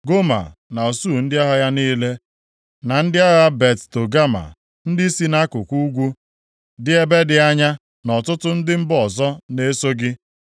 Goma na usuu ndị agha ya niile, na ndị agha Bet Togama ndị si nʼakụkụ ugwu, dị ebe dị anya na ọtụtụ ndị mba ọzọ ga-eso gị.